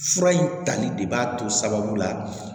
Fura in tali de b'a to sababu la